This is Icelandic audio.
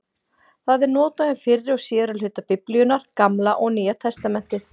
Það er notað um fyrri og síðari hluta Biblíunnar, Gamla og Nýja testamentið.